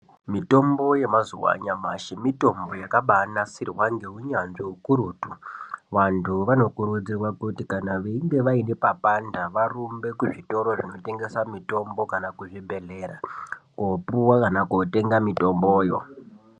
Mitombo yamazuwa anyamashi mitombo yakabanasirwa ngeunyanzvi ukurutu vantu vanokurudzirwa kuti kan veinge vaine papanda varumbe kuzvitoro zvinotengese mitombo kana kuzvibhedhlera kopuwa kana kotenga mitomboyo.